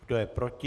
Kdo je proti?